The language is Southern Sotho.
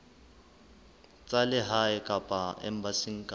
tsa lehae kapa embasing kapa